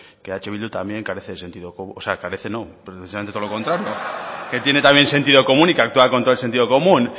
que eh bildu también carece de sentido común o sea no precisamente todo lo contrario que tiene sentido común y que actúa con todo el sentido común